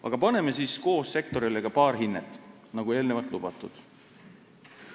Aga paneme siis koos sektorile ka paar hinnet, nagu eelnevalt lubatud.